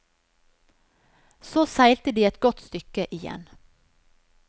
Så seilte de et godt stykke igjen.